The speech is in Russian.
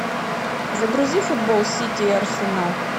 загрузи футбол сити и арсенал